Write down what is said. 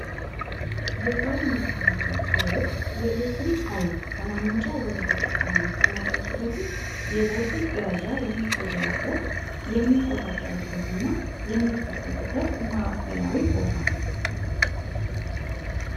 የኃይል ማከፋፈ ጣቢዎች የኤሌክትሪክ ኃይል ከማምንጫ ወደ ተጠቃሚው ከመድረሱ በፊት የቦልቲጅ ደረጃ የሚቀየርበት የሚቆታጠርበት እና የሚጠበቅበት ማዕከላዊ ቦታ ነው።